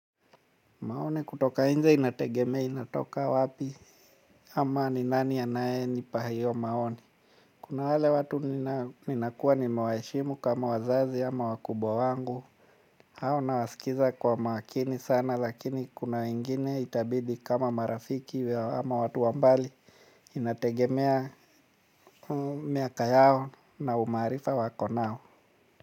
Maoni kutoka nje inategemea inatoka wapi ama ni nani anaye nipa hiyo maoni. Kuna wale watu ninakua nimewaheshimu kama wazazi ama wakubwa wangu. Ao nawaskiza kwa makini sana lakini kuna wengine itabidi kama marafiki ama watu wa mbali inategemea miaka yao na umaarifa wako nao.